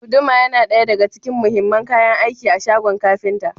Guduma yana daya daga cikin muhimman kayan aiki a shagon kafinta.